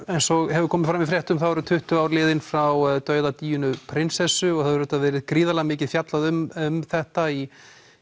eins og hefur komið fram í fréttum eru tuttugu ár liðin frá dauða Díönu prinsessu og það hefur auðvitað verið mikið fjallað um þetta í